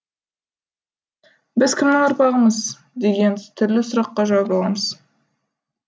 біз кімнің ұрпағымыз деген түрлі сұраққа жауап аламыз